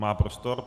Má prostor.